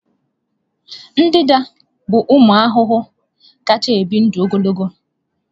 Ndanda bụ ụmụ ahụhụ kacha ebi ndụ ogologo.